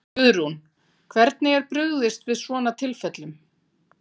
Guðrún, hvernig er brugðist við svona tilfellum?